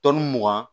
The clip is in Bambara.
mugan